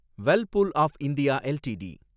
Whirlpool of India LTD